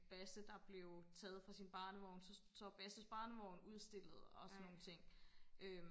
Basse der blev taget fra sin barnevogn så så er Basses barnevogn udstillet og sådan nogle ting øhm